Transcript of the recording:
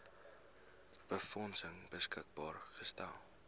befondsing beskikbaar gestel